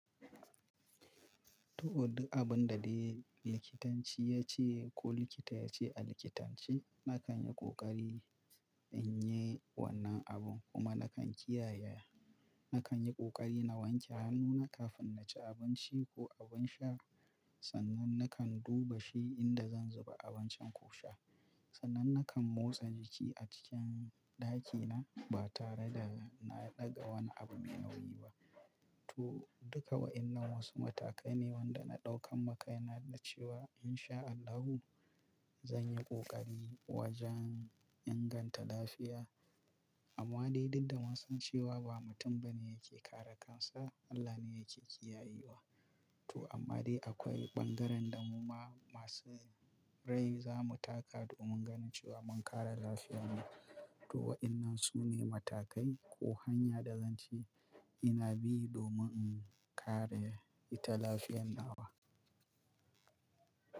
To, duk abinda dai likitanci yace ko likita yace a likitanci, nakanyi ƙoƙari inyi wannan abun kuma nakan kiyaye. Na kan yi ƙoƙari na wanke hannuna kafin na ci abinci ko abin sha, sannan na kan duba shi inda zan zuba abincin ko sha. Sannan na kan motsa jiki a cikin ɗakina ba tare da na ɗaga wani abu mai nauyi ba. To, duka wa’innan wasu matakaine wanda na ɗaukamma kaina da cewa in sha Allahu, zanyi ƙoƙari wajen inganta lafiya. Amma dai dukda munsan cewa ba mutum bane yake kare kansa, Allah ne yake kiyaye wa. To amma dai akwai ɓangarenda muma masu rai zamu taka domin ganin cewa mun kare lafiyarmu. To wa’innan sune matakai ko hanya da zance ina bi domin in kare ita lafiyarmu.